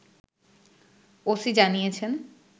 OC জানিয়েছেন